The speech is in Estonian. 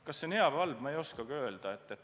Kas see on hea või halb, ma ei oskagi öelda.